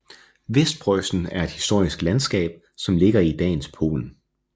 Vestpreussen er et historisk landskab som ligger i dagens Polen